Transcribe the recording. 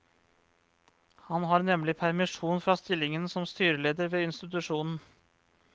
Han har nemlig permisjon fra stillingen som styreleder ved institusjonen.